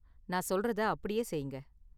நான் சொல்றதை அப்படியே செய்யுங்க.